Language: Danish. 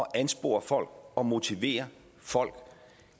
at anspore folk og motivere folk